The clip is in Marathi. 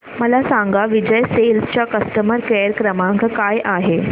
मला सांगा विजय सेल्स चा कस्टमर केअर क्रमांक काय आहे